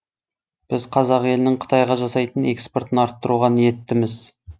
біз қазақ елінің қытайға жасайтын экспортын арттыруға ниеттіміз